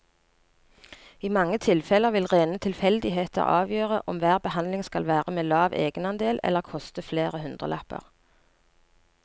I mange tilfeller vil rene tilfeldigheter avgjøre om hver behandling skal være med lav egenandel eller koste flere hundrelapper.